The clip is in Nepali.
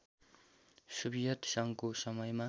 सोभियत सङ्घको समयमा